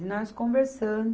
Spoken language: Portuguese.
E nós conversando,